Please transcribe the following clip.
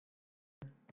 Dóri Sæm.